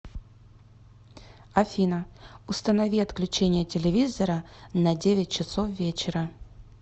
афина установи отключение телевизора на девять часов вечера